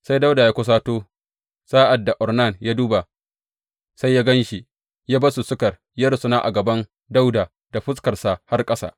Sai Dawuda ya kusato, sa’ad da Ornan ya duba sai ya gan shi, ya bar masussukar ya rusuna a gaban Dawuda da fuskarsa har ƙasa.